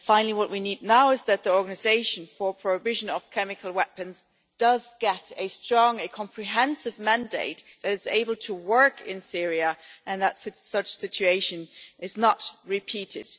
What we need now is that the Organisation for the Prohibition of Chemical Weapons gets a strong a comprehensive mandate, is able to work in Syria, and that such a situation is not repeated.